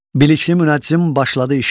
Bilikli münəccim başladı işə.